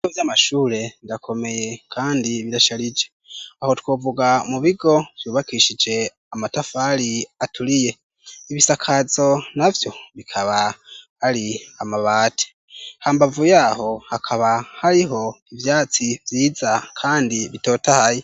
ibigo vyamashure birakomeye kandi birasharije, aho twovuga mu bigo vyubakishije amatafari aturiye, ibisakazo navyo bikaba hari amabati, hambavuye aho hakaba hariho ivyatsi vyiza kandi bitotahaye.